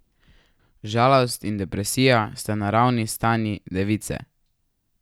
Žalost in depresija sta naravni stanji device.